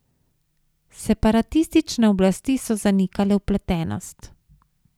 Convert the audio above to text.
Separatistične oblasti so zanikale vpletenost.